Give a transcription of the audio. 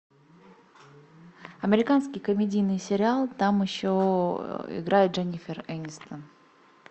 американский комедийный сериал там еще играет дженнифер энистон